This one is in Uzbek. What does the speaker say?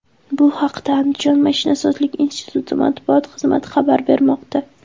Bu haqda Andijon mashinasozlik instituti matbuot xizmati xabar bermoqda.